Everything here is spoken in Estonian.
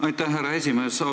Aitäh, härra esimees!